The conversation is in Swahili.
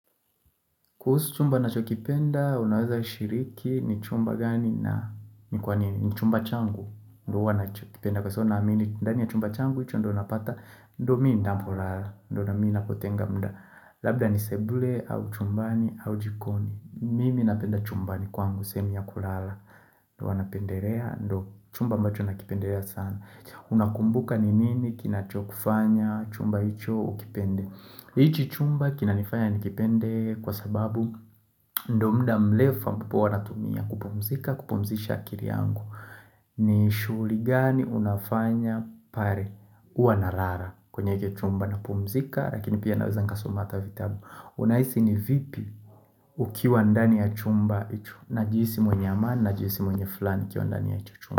Kuhusu chumba nachokipenda, unaweza shiriki ni chumba gani na ni kwa nini, ni chumba changu, ndo huwa nachokipenda kwa sababu naamini, ndani ya chumba changu hicho ndo unapata, ndio mi ninapolala, ndio na mi nakotenga mda, labda ni sebule, au chumbani, au jikoni, mimi napenda chumbani kwangu, sehemu ya kulala, ndo huwa napenderea, ndo chumba ambacho nakipenderea sana. Unakumbuka ni nini kinacho kufanya chumba hicho ukipende hichi chumba kinanifanya nikipende kwa sababu ndo muda mlefu ambapo huwa natumia kupumzika kupumzisha akiri yangu ni shugli gani unafanya pare ua narara kwenye hiki chumba napumzika Rakini pia naweza nikasoma ata vitabu Unaisi ni vipi ukiwa ndani ya chumba hicho Najihisi mwenye amani najihisi mwenye fulaha nikiwa ndani ya hicho chumba.